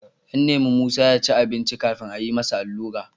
An nemi Musa ya ci abinci kafin a yi masa allura.